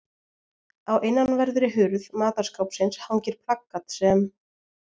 Á innanverðri hurð matarskápsins hangir plakat sem